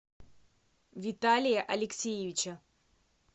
виталия алексеевича